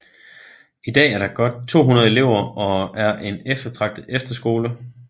I dag er der godt 200 elever og er en eftertragtet efterskole